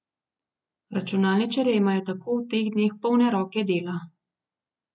Računalničarji imajo tako v teh dneh polne roke dela.